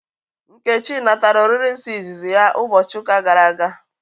Nkechi natara oriri nsọ ịzịzị ya ụbọchị ụka gara aga